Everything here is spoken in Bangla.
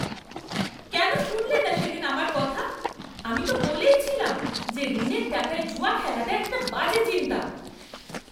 কেন শুনলেনা সেদিন আমার কথা? আমি তো বলেই ছিলাম যে ঋণের টাকায় জুয়া খেলাটা একটা বাজে চিন্তা।